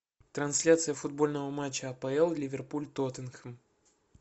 трансляция футбольного матча апл ливерпуль тоттенхэм